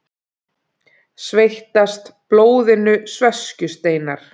Sveitast blóðinu sveskjusteinar.